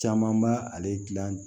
Caman b'a ale dilan